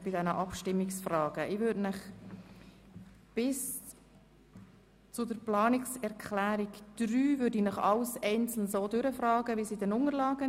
Ich werde Ihnen die Abstimmungsfragen bis zur Planungserklärung 3 einzeln stellen gemäss Unterlagen,